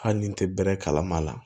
Hali ni n tɛ bɛrɛ kalama a la